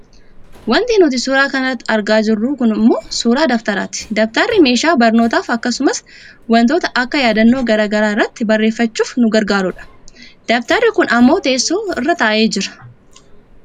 Wanti nuti suuraa kana irratti argaa jirru kun ammoo suuraa dabtaraati. Dabtarri meeshaa barnootaaf akkasumas wantoota akka yaadannoo gara garaa irratti barreeffachuuf nu gargaarudha. Dabtarri kun ammoo teessoo irra taa'ee jira.